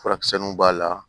Furakisɛw b'a la